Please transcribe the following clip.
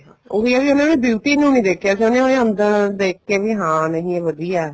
ਉਹੀ ਆ ਵੀ ਉਹਨਾ ਨੇ beauty ਨੂੰ ਨੀ ਦੇਖਿਆ ਉਹਨੇ ਉਹਦੇ ਅੰਦਰ ਦੇਖ ਵੀ ਨਹੀਂ ਹਾਂ ਇਹ ਵਧੀਆ